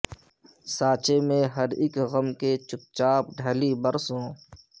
سانچے میں ہر اک غم کے چپ چاپ ڈھلی برسوں